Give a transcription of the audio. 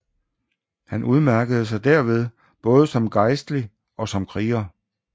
Han udmærkede sig derved både som gejstlig og som kriger